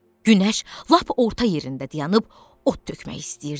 Günəş lap orta yerində dayanıb od tökmək istəyirdi.